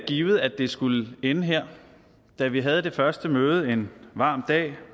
givet at det skulle ende her da vi havde det første møde en varm dag